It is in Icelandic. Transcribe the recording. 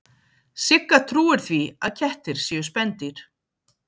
Sigga trúir því að kettir séu spendýr.